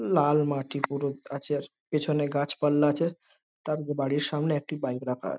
লাল মাটি পুরো গাছের পেছনে গাছপালা আছে | তার বাড়ির সামনে একটি বাইক রাখা আছে।